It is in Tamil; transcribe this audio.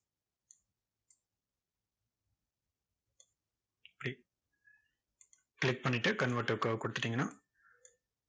click click பண்ணிட்டு convert to curve கொடுத்துட்டீங்கன்னா,